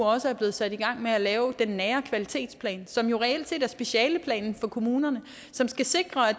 også blevet sat i gang med at lave den nære kvalitetsplan som jo reelt set er specialeplanen for kommunerne og som skal sikre at